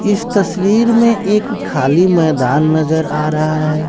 इस तस्वीर में एक खाली मैदान नजर आ रहा है।